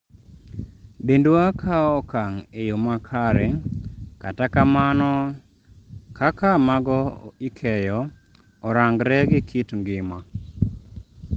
"dendwa kawo okang' e yo makare , kata kamano kaka mago ikeyo orangre gi kit ngima